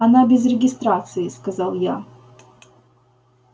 она без регистрации сказал я